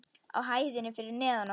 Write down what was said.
Á hæðinni fyrir neðan okkur.